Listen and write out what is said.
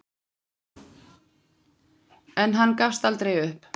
En hann gafst aldrei upp.